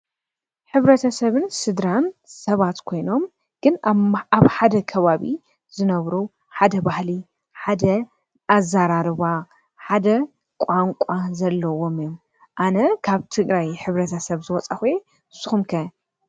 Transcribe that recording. ሕብረተሰብን ስድራን ሰባት ኮይኖም ግን ኣብ ሓደ ከባቢ ዝነብሩ ሓደ ባህሊ ሓደ ኣዘራርባ ሓደ ቋንቋ ዘለዎም እዮም። ኣነ ካብ ትግራይ ሕብረተሰብ ዝወፃእኩ እየ። ንሱኹም ከ?